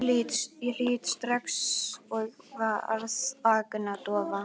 Ég hlýddi strax og varð agndofa.